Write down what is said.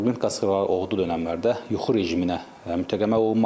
Maqnit qasırğaları oğu dönəmlərdə yuxu rejiminə mütləq əməl olunmalıdır.